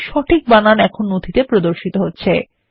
সঠিক বানান এখন নথিতে প্রদর্শিত হচ্ছে